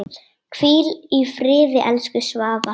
Hvíl í friði, elsku Svava.